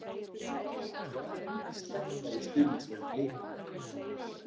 Hvað er hann að sletta í stuðningsmenn BLIKA?